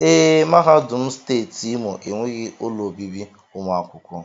Ee, mahadum steeti Imo enweghị ụlọ obibi ụmụ akwụkwọ